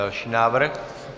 Další návrh?